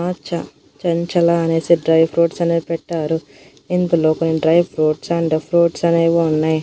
ఆ చ చంచల అనేసి డ్రై ఫ్రూట్స్ అనేవి పెట్టారు ఇందులో కొన్ని డ్రై ఫ్రూట్స్ అండ్ ఫ్రూట్స్ అనేవి ఉన్నాయి.